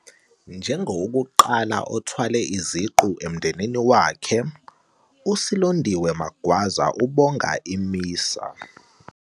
Njengowokuqala othwale iziqu emndenini wakhe, uSilondiwe Magwaza ubonga i-MISA.